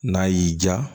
N'a y'i diya